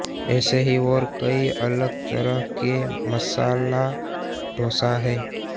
ऐसे ही और कई अलग तरह के मसाला डोसा है